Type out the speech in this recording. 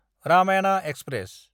Ramayana express